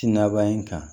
Ti naban kan